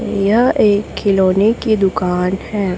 यह एक खिलौने की दुकान है।